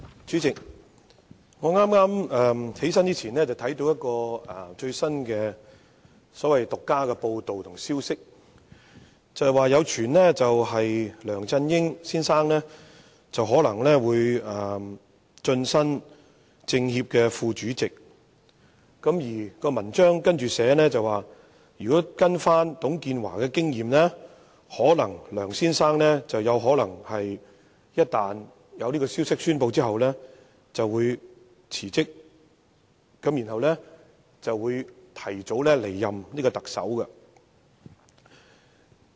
主席，我站起來發言之前，剛看到一則最新的獨家報道和消息，指有傳梁振英先生或會晉身中國人民政治協商會議全國委員會副主席，報道中更提到，按董建華先生的經驗，消息一旦公布後，梁先生可能會辭職，提早離任特首。